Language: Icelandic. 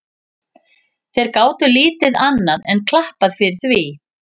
Þeir gátu lítið annað enn klappað fyrir því.